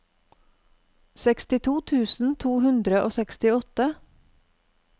sekstito tusen to hundre og sekstiåtte